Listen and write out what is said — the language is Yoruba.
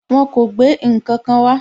Wọn kò gbé ǹkankan wá.